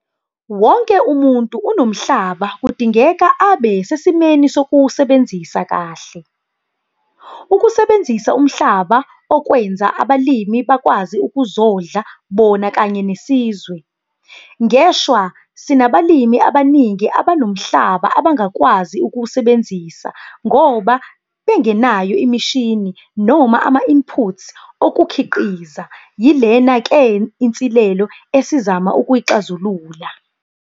Wonke umuntu onomhlaba kudingeka abe sesimeni sokuwusebenzisa kahle. Ukusebenzisa umhlaba okwenza abalimi bakwazi ukuzondla bona kanye nesizwe. Ngeshwa sinabalimi abaningi abanomhlaba abangakwazi ukuwusebenzisa ngoba bengenayo imishini noma ama-inputs okukhiqiza - yilena ke inselelo esizama ukuyixazulula.